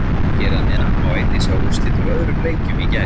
Hér að neðan má einnig sjá úrslit úr öðrum leikjum í gær.